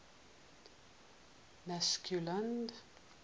mccausland